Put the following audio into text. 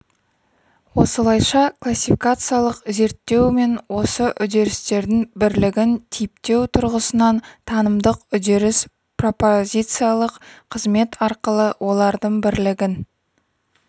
осылайша классификациялық зерттеу мен осы үдерістердің бірлігін типтеу тұрғысынан танымдық үдеріс пропозициялық қызмет арқылы олардың бірлігін